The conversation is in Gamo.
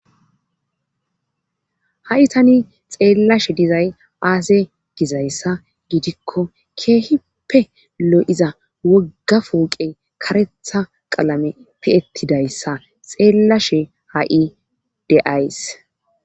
Ha7i tani xeellashe dizay aase gizayssa gidikko keehipppe lo7iza woggafooqe karetha qalame pi7ettidayssa xeellashe ha7i deays.